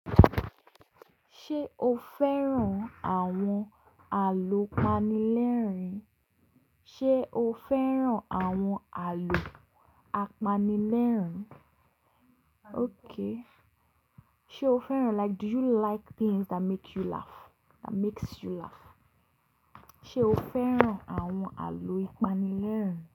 Ṣé o fẹ́ràn àwọn àlọ́ ìpanilẹ́rìn? Ṣé o fẹ́ràn àwọn àlọ́ àpanilẹ́rìn? Okay. Ṣé o fẹ́ràn like do you like things that make you laugh, that makes you laugh? Ṣé o fẹ́ràn àwọn àlọ́ ìpanilẹ́rìn?